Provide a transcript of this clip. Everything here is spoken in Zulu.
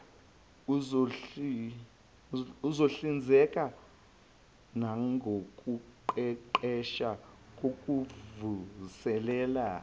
uzohlinzeka nangokuqeqesha kokuvuselela